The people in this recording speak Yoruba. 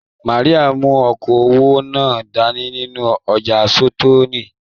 Màríà mú okoowó náà dání nínú ọja sitọ̀ọ́kíi.